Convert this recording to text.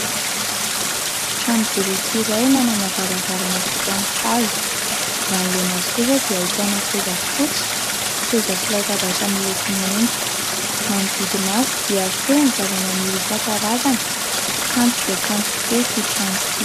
Trano boriky iray manana varavarana vita amin'ny hazo; manoloana azy kosa dia ahitana seza fotsy, seza sy latabatra miloko maitso, manodidina azy dia feno zava-maniry isankarazany ; kanto dia kanto tokoa ity trano ity.